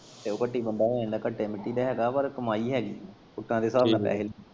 ਤੇ ਓ ਘੱਟੀ ਬੰਦਾ ਹੋ ਜਾਂਦਾ ਘੱਟੇ ਮਿੱਟੀ ਦਾ ਹੈਗਾ ਪਰ ਕਮਾਈ ਹੈਗੀ ਘੁੱਟਾਂ ਦੇ ਸਾਬ ਨਾਲ।